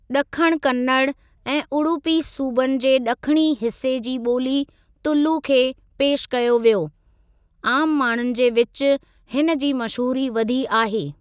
ॾखण कन्नड़ ऐं उडुपी सूबनि जे ॾखणी हिस्‍से जी ॿोली तुलु खे पेश कयो वियो; आम माण्‍हुनि जे विच हिनजी मशहूरी वधी आहे।